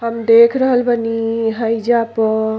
हम देख रहल बानी हइजा प --